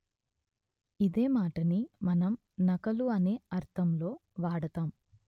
ఇదే మాటని మనం నకలు అనే అర్ధం లో వాడతాం